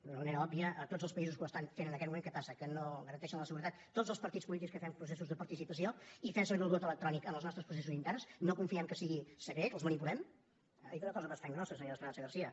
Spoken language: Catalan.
d’una manera òbvia a tots els països que ho estan fent en aquest moment què passa que no garanteixen la seguretat tots els partits polítics que fem processos de participació i fem servir el vot electrònic en els nostres processos interns no confiem que sigui secret els manipulem ha dit una cosa bastant grossa senyora esperanza garcía